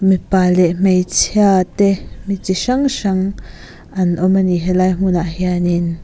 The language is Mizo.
mipa leh hmeichhia te mi chi hrang hrang an awm ani helai hmun ah hianin--